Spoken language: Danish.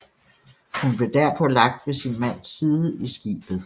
Hun blev derpå lagt ved sin mands side i skibet